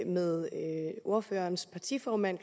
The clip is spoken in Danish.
med ordførerens partiformand